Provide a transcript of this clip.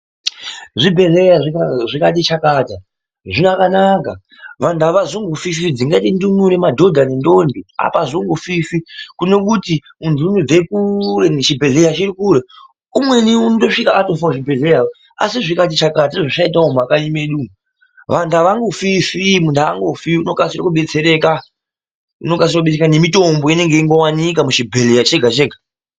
Zvibhedhlera zvikati chakata zvakanaka vantu havazombofifi dzingaita ndumure madhodha nendombi avazombofifi kune kuti mundu anobva kure nechibhedhlera umweni anosvika atofa kuchibhedhlera asi zvikati chakata sezvazvaitawo mumakanyi medu umu vantu avangofifi muntu angofifi anokasira kubetsereka nemitombo inenge ichingowanika muchibhedhlera chega chega.